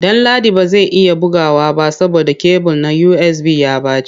Danladi ba zai iya bugawa ba saboda kebul na USB ya ɓace.